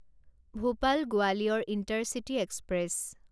Bhopal Gwalior intercity express